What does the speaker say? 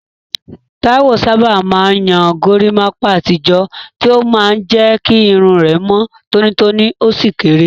Taiwo sábà máa ń yan gorimapa àtijọ́, tí ó máa ń jẹ́ kí irun rẹ̀ mọ́ tónítóní ó sì kéré.